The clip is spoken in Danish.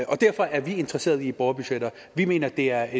og derfor er vi interesserede i borgerbudgetter vi mener det er